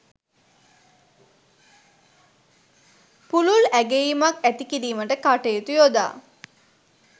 පුළුල් ඇගැයීමක් ඇති කිරීමට කටයුතු යොදා